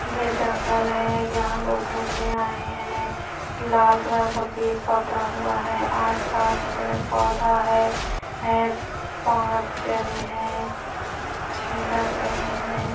यह जंगल है यहाँ लोग घूमने आए है लाल कलर का बैग पकड़ा हुआ है आस-पास पेड़ पौधा है है पाँच झने है अच्छे लग रहे हैं।